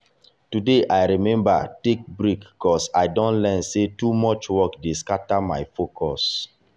today i remember take break ‘cause i don learn say too much work dey scatter my focus.